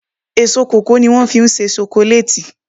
Èso kòkó ní wọ́n fí ń se sokoléètì